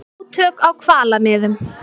Átök á hvalamiðum